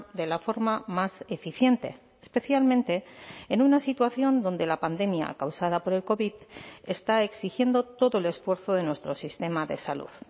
de la forma más eficiente especialmente en una situación donde la pandemia causada por el covid está exigiendo todo el esfuerzo de nuestro sistema de salud